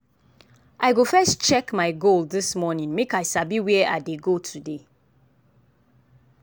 i go first check my goal this morning make i sabi where i dey go today.